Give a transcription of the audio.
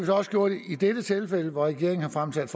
også gjort i dette tilfælde hvor regeringen har fremsat